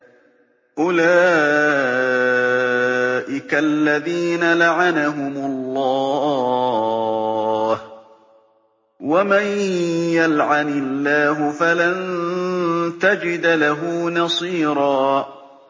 أُولَٰئِكَ الَّذِينَ لَعَنَهُمُ اللَّهُ ۖ وَمَن يَلْعَنِ اللَّهُ فَلَن تَجِدَ لَهُ نَصِيرًا